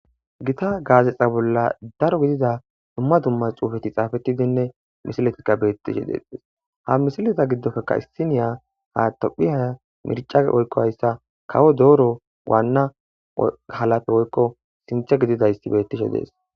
Gita gazexa bolla daro gidida dumma dumma xuufetti xaafettidinne misiletikka bettishe dettes ha misileta gidoppekka issiniya ha tophphiya mirca woykko hayssa kawo doro waanna doro halappe woykko sinththa gididdi bettishe dees